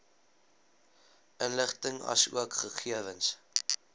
inligting asook gegewens